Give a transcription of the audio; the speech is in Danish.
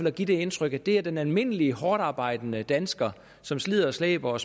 at give det indtryk at det er den almindelige hårdtarbejdende dansker som slider og slæber